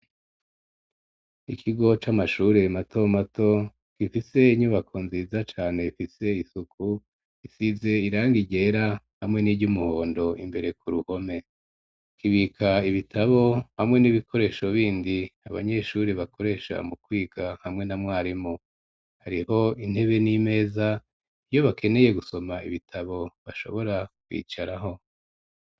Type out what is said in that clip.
Ikigo c'amashure mato mato ,gifise inyubako nziza cane ifise isuku, isize irangi ryera ,hamwe n'iry'umuhondo ,imbere ku ruhome kibika ibitabo ,hamwe n'ibikoresho bindi abanyeshuri bakoresha mu kwiga ,hamwe na mwarimu ,hariho intebe n'imeza iyo bakeneye gusoma ibitabo, bashobora kwicarako.